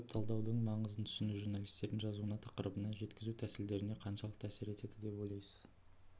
веб-талдаудың маңызын түсіну журналистердің жазуына тақырыбына жеткізу тәсілдеріне қаншалықты әсер етеді деп ойлайсыз